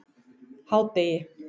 hádegi